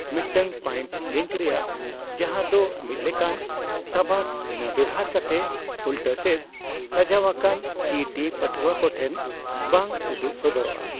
ᱢᱤᱫᱴᱟᱝ pipe link ᱨᱮᱭᱟᱜ (ᱡᱟᱦᱟᱫᱚ ᱢᱤᱫᱞᱮᱠᱟᱱ ᱥᱟᱵᱟᱫ ᱵᱷᱤᱱᱟᱹ ᱵᱮᱣᱦᱟᱨ ᱠᱟᱛᱮ) ᱩᱞᱴᱟᱹᱥᱮᱫ, ᱥᱟᱡᱟᱣᱟᱠᱟᱱ ᱠᱤᱼᱴᱤ ᱯᱟᱹᱴᱷᱩᱣᱟᱹ ᱠᱚᱴᱷᱮᱱ ᱵᱟᱝ ᱩᱫᱩᱜ ᱥᱚᱫᱚᱨᱚᱜᱼᱟ ᱾